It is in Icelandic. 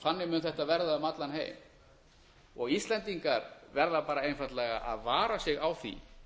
þannig mun þetta verða um allan heim íslendingar verða bara einfaldlega að vara sig á því